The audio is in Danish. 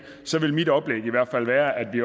så vil mit oplæg i hvert fald være at vi